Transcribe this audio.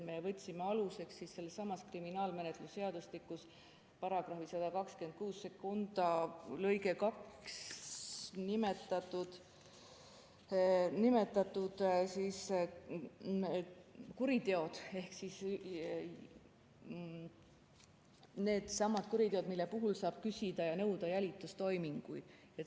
Me võtsime aluseks kriminaalmenetluse seadustikus § 1262 lõikes 2 nimetatud kuriteod ehk needsamad kuriteod, mille puhul saab küsida ja nõuda jälitustoiminguid.